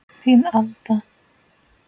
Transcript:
Þín, Alda.